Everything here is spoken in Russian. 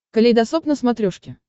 калейдосоп на смотрешке